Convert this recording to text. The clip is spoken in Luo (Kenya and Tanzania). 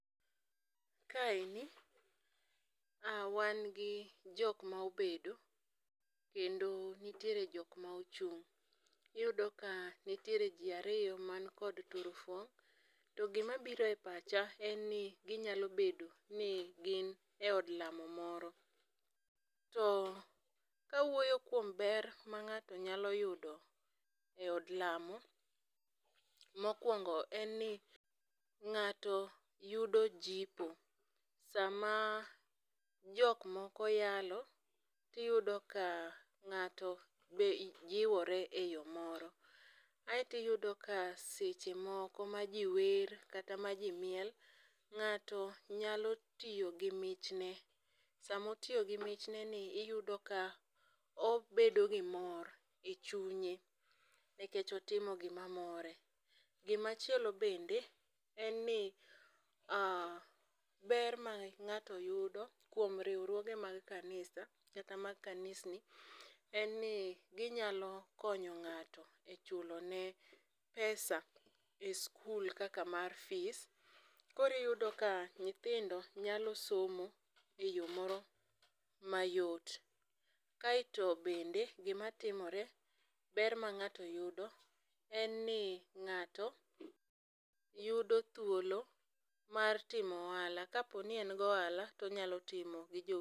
Kaeni a wan gik jok ma obedo kendo nitiere jok ma ochung'. Iyudo ka nitiere jii ariyo man kod turfong' to gima biro e pacha en ni ginyalo bedo ni gin eod lamo moro. To kawuoyo kuom ber ma ng'ato nyalo yudo e od lamo , mokwongo en ni ng'ato yudo jipo . Sama jok moko yalo, tiyudo ka ng'ato be jiwore e yoo moro. Aeti yudo ka seche moko ma jii wer kata ma jii miel ng'ato nyalo tiyo gi mich ne samotiyo gi michne ni iyudo ka obedo gi mor e chunye nikech otimo gima more. Gima chielo bende en ni ber ma ng'ato yudo kuom riwruoge mag kanisa kata mag kanisni en ni ginyalo konyo ng'ato e chulo ne pesa pes skul kaka mar fis. Koro iyudo ka nyithindo nyalo somo e yoo moro mayot. Kaeto bende gimatimore ber ma ng'ato yudo en ni ng'ato yudo thuolo mar timo ohala kaponi en gohala tonyalo timo gi jowetene.